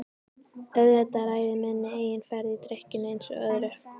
Auðvitað ræð ég minni eigin ferð í drykkjunni einsog öðru.